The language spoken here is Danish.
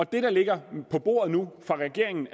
det der ligger på bordet nu fra regeringens